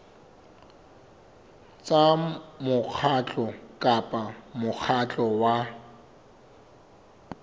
tsa mokgatlo kapa mokgatlo wa